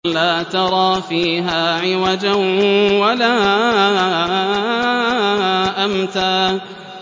لَّا تَرَىٰ فِيهَا عِوَجًا وَلَا أَمْتًا